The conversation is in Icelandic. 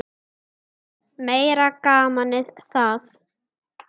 Meira gamanið það!